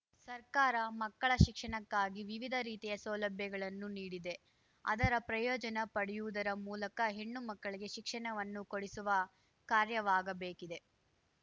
ಸರ್ಕಾರ ಮಕ್ಕಳ ಶಿಕ್ಷಣಕ್ಕಾಗಿ ವಿವಿಧ ರೀತಿಯ ಸೌಲಭ್ಯಗಳನ್ನು ನೀಡಿದೆ ಅದರ ಪ್ರಯೋಜನ ಪಡೆಯುವುದರ ಮೂಲಕ ಹೆಣ್ಣು ಮಕ್ಕಳಿಗೆ ಶಿಕ್ಷಣವನ್ನು ಕೊಡಿಸುವ ಕಾರ್ಯವಾಗಬೇಕಿದೆ